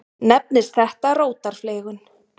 Nefnist þetta rótarfleygun.